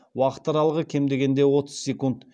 уақыт аралығы кем дегенде отыз секунд